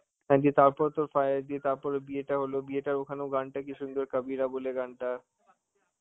হ্যাঁ দিয়ে তারপর তোর দিয়ে বিয়েটা হলো, বিয়েটার ওখানে গানটা কি সুন্দর, HIndi বলে গানটা.